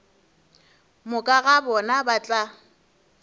moka ga bona ba tla